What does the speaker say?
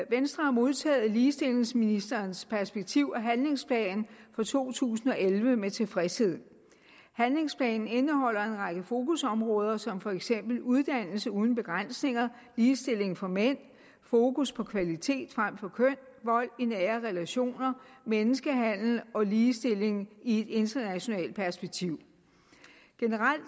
venstre har modtaget ligestillingsministerens perspektiv og handlingsplan for to tusind og elleve med tilfredshed handlingsplanen indeholder en række fokusområder som for eksempel uddannelse uden begrænsninger ligestilling for mænd fokus på kvalitet frem for køn vold i nære relationer menneskehandel og ligestilling i et internationalt perspektiv generelt